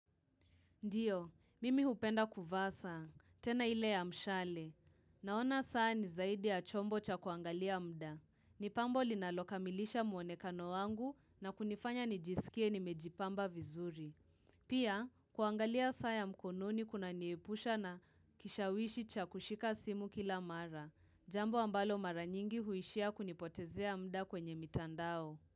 Ndiyo, mimi hupenda kuvaa saa. Tena ile ya mshale. Naona saa ni zaidi ya chombo cha kuangalia mda. Nipambo linalokamilisha muonekano wangu na kunifanya nijisikie nimejipamba vizuri. Pia, kuangalia saa ya mkononi kuna niepusha na kishawishi cha kushika simu kila mara. Jambo ambalo mara nyingi huishia kunipotezea mda kwenye mitandao.